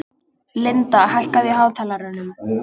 Linda, hækkaðu í hátalaranum.